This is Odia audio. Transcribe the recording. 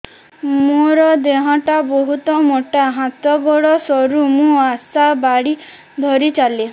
ମୋର ଦେହ ଟା ବହୁତ ମୋଟା ହାତ ଗୋଡ଼ ସରୁ ମୁ ଆଶା ବାଡ଼ି ଧରି ଚାଲେ